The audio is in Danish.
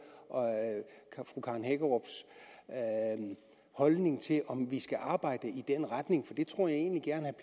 fru karen hækkerups holdning til om vi skal arbejde i den retning det tror jeg egentlig gerne